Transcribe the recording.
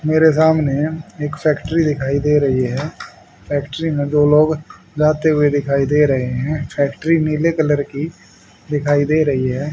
मेरे सामने एक फैक्ट्री दिखाई दे रही है। फैक्ट्री में दो लोग जाते हुए दिखाई दे रहे हैं। फैक्ट्री नीले कलर की दिखाई दे रही है।